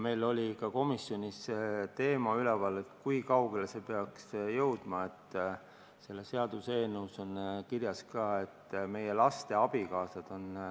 Meil oli ka komisjonis see teema üleval, et kui kaugele see peaks jõudma – selles seaduseelnõus esitatud nimekirja on juba jõudnud ka meie laste abikaasad.